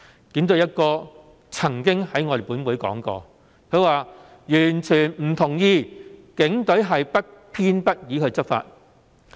警隊"一哥"曾經在本會上說過，他完全不同意警隊是不偏不倚地執法。